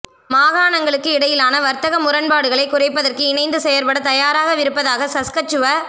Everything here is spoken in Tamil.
மாகாணங்களுக்கு இடையிலான வர்த்தக முரண்பாடுகளை குறைப்பதற்கு இணைந்து செயற்பட தயாராகவிருப்பதாக சஸ்கச்சுவ